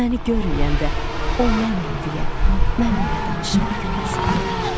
Məni görməyəndə, o mənəm deyə, mənimlə danışıb güləsən bir də.